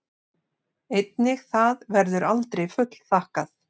Einnig það verður aldrei fullþakkað.